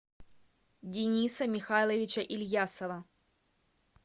дениса михайловича ильясова